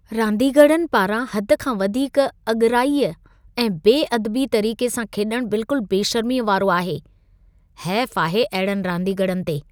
रांदीगरनि पारां हद खां वधीक अॻिराई ऐं बेअदबी तरीक़े सां खेॾणु बिल्कुल बेशर्मीअ वारो आहे। हेफ आहे अहिड़नि रांदीगरनि ते।